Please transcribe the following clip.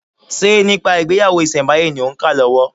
Ṣe nípa ìgbéyàwó ìsẹ̀ǹbáyé ni òń kà lọ́wọ́?